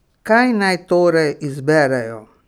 Kaj naj torej izberejo?